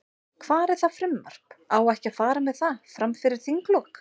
Hvar er það frumvarp, á ekki að fara með það, fram fyrir þinglok?